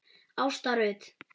Ásta Rut.